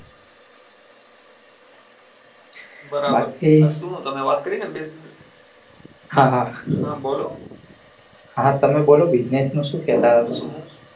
હા શું તમે વાત કરી ને business ન હા બોલો